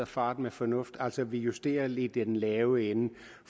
fart med fornuft altså at vi justerer lidt i den lave ende